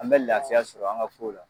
An bɛ lafiya sɔrɔ an ka kow la